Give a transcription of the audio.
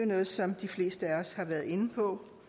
noget som de fleste af os har været inde på